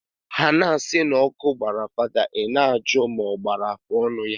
Ha na asi na oku gbara father i na aju ma ogbakwara ma afuonu ya.